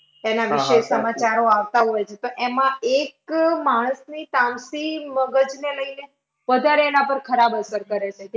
તેના વિશે સમાચારો આવતા હોય છે. તો એમાં એક માણસ તામસી મગજને લઈને વધારે એના પર ખરાબ અસર કરે છે. કે